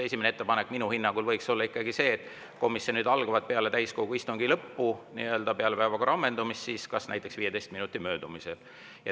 Esimene ettepanek minu hinnangul võiks olla see, et komisjonide algavad peale täiskogu istungi lõppu, peale päevakorra ammendumist, näiteks 15 minuti möödumisel.